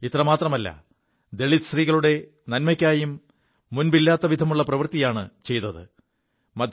ഇത്രമാത്രമല്ല ദളിത് സ്ത്രീകളുടെ നന്മയ്ക്കായും മുമ്പില്ലാത്തവിധമുള്ള പ്രവൃത്തിയാണു ചെയ്തത്